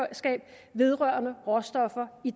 vedrørende råstoffer i